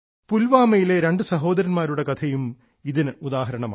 പുൽവാമയിലെ രണ്ട് സഹോദരന്മാരുടെ കഥയും ഇതിന് ഉദാഹരണമാണ്